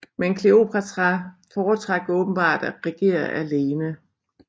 Men Kleopatra foretrak åbenbart at regere alene